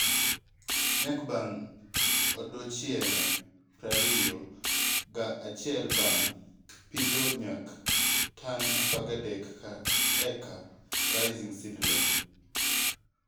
Nyak bang odiochienge prariyo ga achiel bang pitho- nyak: tan apagadek ka eka Raising Seedling